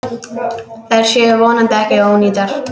Þær séu vonandi ekki ónýtar.